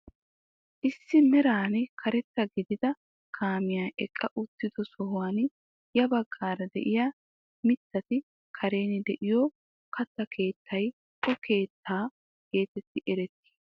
Issi meran karetta gidida kaamiyaa eqqa uttido sohuwaan ya baggaara de'iyaa mittati karen de'iyoo katta kettay o keettaa getettidi eretii?